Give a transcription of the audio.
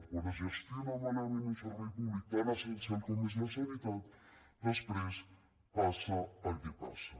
quan es gestiona malament un servei públic tan essencial com és la sanitat després passa el que passa